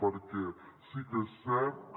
perquè sí que és cert que